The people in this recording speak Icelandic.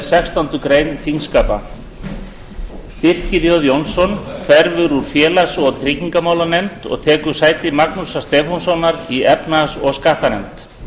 sextándu grein þingskapa birkir jón jónsson hverfur úr félags og tryggingamálanefnd og tekur sæti magnúsar stefánssonar í efnahags og skattanefnd